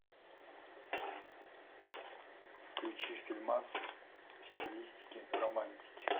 включи фильмас в стилистике романтики